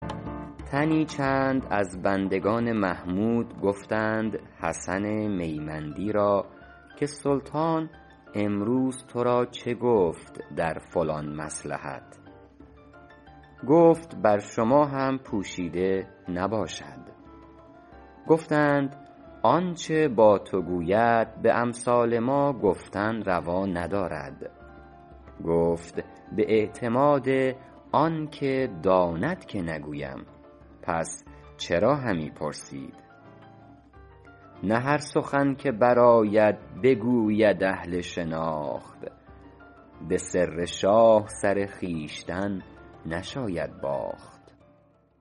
تنی چند از بندگان محمود گفتند حسن میمندی را که سلطان امروز تو را چه گفت در فلان مصلحت گفت بر شما هم پوشیده نباشد گفتند آنچه با تو گوید به امثال ما گفتن روا ندارد گفت به اعتماد آن که داند که نگویم پس چرا همی پرسید نه هر سخن که برآید بگوید اهل شناخت به سر شاه سر خویشتن نشاید باخت